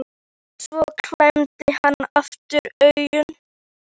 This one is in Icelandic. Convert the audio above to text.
En svo klemmdi hann aftur augun.